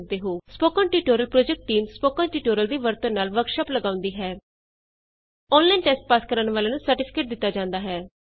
spoken tutorial project team spoken tutorial ਦੀ ਵਰਤੋਂ ਨਾਲ ਵਰਕਸ਼ਾਪ ਲਗਾਉਂਦੀ ਹੈ ਔਨਲਾਈਨ ਟੈਸਟ ਪਾਸ ਕਰਨ ਵਾਲਿਆਂ ਨੂੰ ਸਰਟੀਫਿਕੇਟ ਦਿਤਾ ਜਾਂਦਾ ਹੈ